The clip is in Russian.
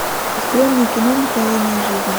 открой мне кино мгновение жизни